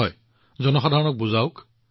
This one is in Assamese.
হয় জনসাধাৰণক বুজাই দিয়ক